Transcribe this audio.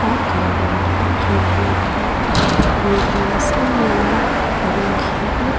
a kang bang te pawh chu niin a lang a a hmelhem nasa em em a a rawng khi--